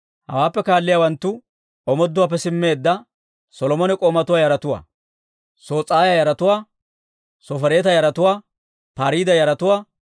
Hawaappe kaaliyaawanttu omooduwaappe simmeedda Solomone k'oomatuwaa yaratuwaa: Sos'aaya yaratuwaa, Sofereeta yaratuwaa, Pariida yaratuwaa,